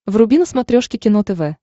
вруби на смотрешке кино тв